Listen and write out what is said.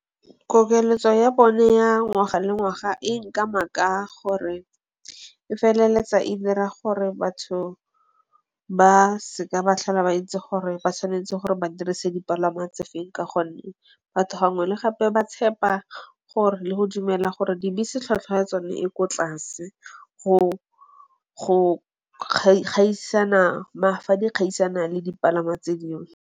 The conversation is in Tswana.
Kokeletso ya bone ya ngwaga le ngwaga e nkama ka gore e feleletsa e dira gore batho ba seka ba tlhola ba itse gore ba tshwanetse gore ba dirise dipalangwa tse feng ka gonne batho gangwe le gape ba tshepa gore le go dumela gore dibese tlhwatlhwa ya tsone e ko tlase go gaisana fa di kgaisana le dipalangwa tse dingwe.